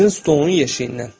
Sizin stolun yeşiyindən.